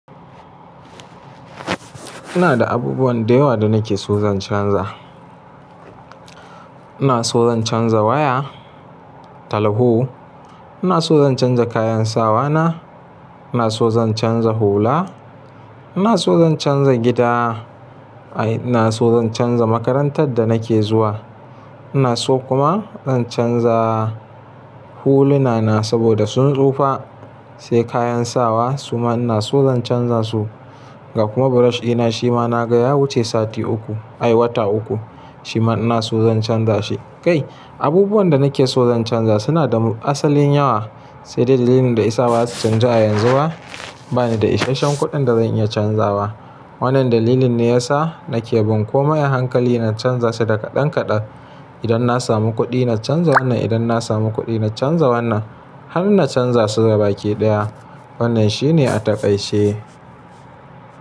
Ina da abubuwan da yawa da nake so zan canza. Ina so zan canza waya, talaho, ina so zan canza kayan sawa na, ina so zan canza hula, ina so zan canza gida, ai ina so zan canza makarantar da nake zuwa. Ina so kuma zan canza huluna na saboda sun tsufa. Sai kayan sawa su ma ina so zan canza su. Ga kuma brush ina shi ma na ga ya wuce sati uku, ai wata uku. Shi ma ina so zan canza shi. Kai abubuwan da nake so zan canza suna da asalin yawa. Sai dai dalilin da ya sa ba za su canju a yanzu ba, ba ni da isasshen kuɗin da zan iya canza ba. Wannan dalilin ne ya sa nake bin komai a hankali na canza su da kaɗan-kaɗan. Idan na samu kuɗi na canza wannan, idan na samu kuɗi na canza wannan har na canza su gabaki ɗaya. Wannan shi ne a taƙaice.